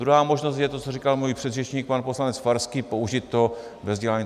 Druhá možnost je to, co říkal můj předřečník pan poslanec Farský, použít to ve vzdělání.